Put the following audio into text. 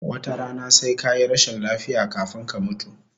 Wata rana sai kayi rashin lafiya kafun ka mutu